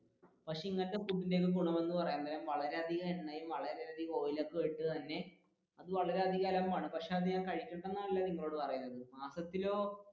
പക്ഷെ ഇങ്ങനത്തെ ഭക്ഷണത്തിന്റെ ഗുണം എന്ന് പറയാൻ നേരം വളരെയധികം എണ്ണയും, വളരെ അധികം ഓയിലും ഒക്കെ ഒഴിച്ച് തന്നെ വളരെയധികം അലമ്പാണ് പക്ഷെ അത് കഴിക്കണ്ടല്ല എന്നല്ല ഞാൻ നിങ്ങളോട് പറയുന്നത് മാസത്തിലോ